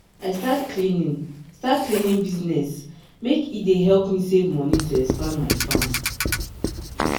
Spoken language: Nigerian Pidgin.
i start cleaning start cleaning business make e dey help me save money to expand my farm.